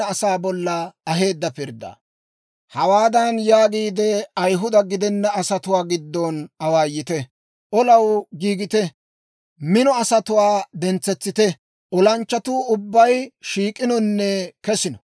«Hawaadan yaagiide Ayihuda gidena asatuwaa giddon awaayite; ‹Olaw giigite; mino asatuwaa dentsetsite! Olanchchatuu ubbay shiik'inonne kesino.